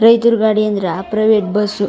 ರೈತ್ರು ಗಾಡಿ ಅಂದ್ರೆ ಪ್ರೈವೇಟ್ ಬಸ್ಸು .